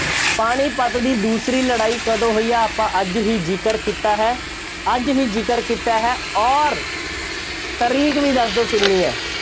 ਪਾਣੀਪਤ ਦੀ ਦੂਸਰੀ ਲੜਾਈ ਕਦੋਂ ਹੋਈ ਹੈ। ਆਪਾਂ ਅੱਜ ਹੀ ਜ਼ਿਕਰ ਕੀਤਾ ਹੈ। ਅੱਜ ਹੀ ਜ਼ਿਕਰ ਕੀਤਾ ਹੈ ਅੋਰ ਤਾਰੀਕ ਵੀ ਦੱਸ ਦਿਓ ਕਿੰਨੀ ਹੈ।